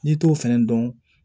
N'i t'o fɛnɛ dɔn